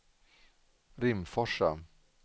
Rimforsa